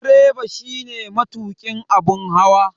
Direba shine matukin abun hawa.